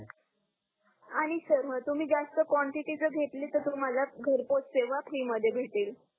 आणि सर ह तुम्ही जास्त क्वांटिटीच घेतल तर तुम्हाला घर पोच सेवा फ्री मध्ये भेटेल